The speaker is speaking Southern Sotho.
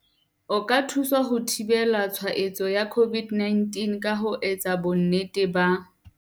O ka thusa ho thibela tshwa etso ya COVID-19 ka ho etsa bonnete ba.